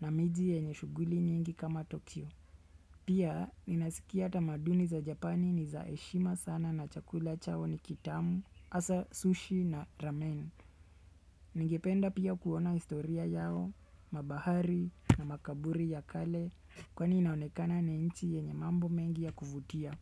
na miji yenye shughuli nyingi kama Tokyo. Pia, ninasikia tamaduni za Japani ni zaheshima sana na chakula chao ni kitamu, hasa sushi na ramen. Ningependa pia kuona historia yao, mabahari na makaburi ya kale kwani inaonekana ni nchi yenye mambo mengi ya kuvutia.